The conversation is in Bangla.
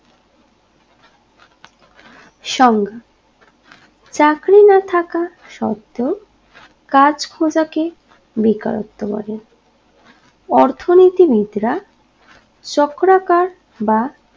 সংজ্ঞা চাকরি না থাকা সত্ত্বেও কাজ খোজা কে বেকারত্ব বলে অর্থনীতি বিদরা চক্রাকার বা